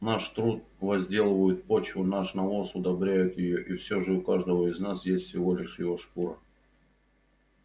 наш труд возделывает почву наш навоз удобряет её и всё же у каждого из нас есть всего лишь его шкура